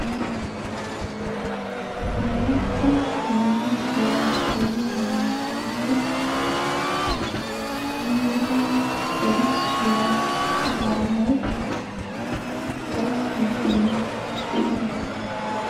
oorata yunburshiya gelliya naatuyoo kiyida errisuwa gallay gakiidi de'ees.